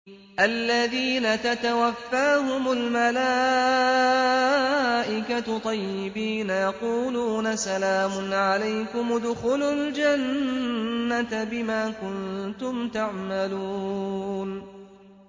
الَّذِينَ تَتَوَفَّاهُمُ الْمَلَائِكَةُ طَيِّبِينَ ۙ يَقُولُونَ سَلَامٌ عَلَيْكُمُ ادْخُلُوا الْجَنَّةَ بِمَا كُنتُمْ تَعْمَلُونَ